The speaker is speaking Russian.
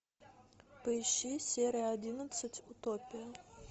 поищи серия одиннадцать утопия